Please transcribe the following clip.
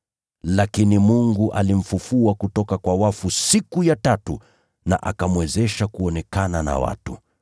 Lakini Mungu alimfufua kutoka kwa wafu siku ya tatu na akamwezesha kuonekana na watu.